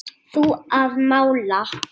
Þú að mála.